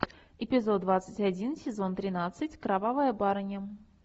эпизод двадцать один сезон тринадцать кровавая барыня